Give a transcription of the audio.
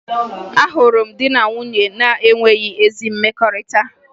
Ahụrụ m di na nwunye na-enweghi ezi mmekọrịta